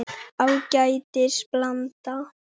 Ágætis blanda.